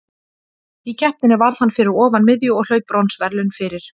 Í keppninni varð hann fyrir ofan miðju og hlaut bronsverðlaun fyrir.